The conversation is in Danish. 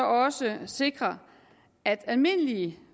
også sikre at almindelige